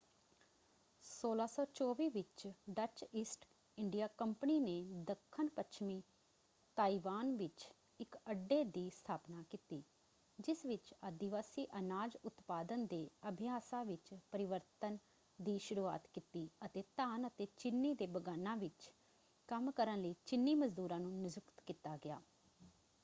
1624 ਵਿੱਚ Dutch East India company ਨੇ ਦੱਖਣ-ਪੱਛਮੀ ਤਾਇਵਾਨ ਵਿੱਚ ਇੱਕ ਅੱਡੇ ਦੀ ਸਥਾਪਨਾ ਕੀਤੀ ਜਿਸ ਵਿੱਚ ਆਦਿਵਾਸੀ ਅਨਾਜ ਉਤਪਾਦਨ ਦੇ ਅਭਿਆਸਾਂ ਵਿੱਚ ਪਰਿਵਰਤਨ ਦੀ ਸ਼ੁਰੂਆਤ ਕੀਤੀ ਅਤੇ ਧਾਨ ਅਤੇ ਚੀਨੀ ਦੇ ਬਗਾਨਾਂ ਵਿੱਚ ਕੰਮ ਕਰਨ ਲਈ ਚੀਨੀ ਮਜ਼ਦੂਰਾਂ ਨੂੰ ਨਿਯੁਕਤ ਕੀਤਾ ਗਿਆ।